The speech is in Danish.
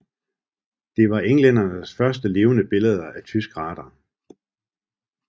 Det var englændernes første levende billeder af tysk radar